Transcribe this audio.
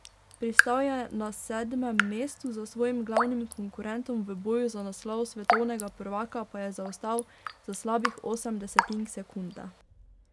Pristal je na sedmem mestu, za svojim glavnim konkurentom v boju za naslov svetovnega prvaka pa je zaostal za slabih osem desetink sekunde.